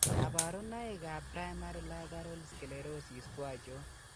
Kabarunoik ab Primary lateral sclerosis ko achon?